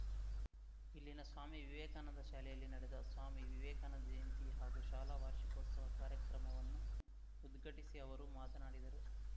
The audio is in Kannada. ಇಲ್ಲಿನ ಸ್ವಾಮಿ ವಿವೇಕಾನಂದ ಶಾಲೆಯಲ್ಲಿ ನಡೆದ ಸ್ವಾಮಿ ವಿವೇಕಾನಂದ ಜಯಂತಿ ಹಾಗೂ ಶಾಲಾ ವಾರ್ಷಿಕೋತ್ಸವ ಕಾರ್ಯಕ್ರಮವನ್ನು ಉದ್ಘಾಟಿಸಿ ಅವರು ಮಾತನಾಡಿದರು